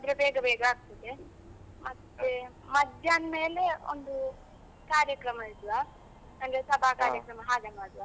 ಇದಾದ್ರೆ ಬೇಗ ಬೇಗ ಆಗ್ತದೆ, ಮತ್ತೆ ಮಧ್ಯಾಹ್ನ ಮೇಲೆ ಒಂದು ಕಾರ್ಯಕ್ರಮ ಇಡುವ, ಅಂದ್ರೆ ಸಭಾ ಕಾರ್ಯಕ್ರಮ ಹಾಗೆ ಮಾಡುವ.